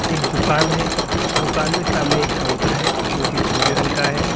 एक दुकान है दुकान में सामने एक काउंटर है जो की भूरे रंग का है।